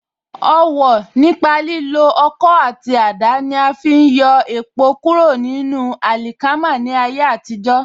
Ọwọ̀ nípa lílo Ọkọ́ àti àdá ní afi ń yọ èpò kúrò nínú àlìkámà ní àtijó.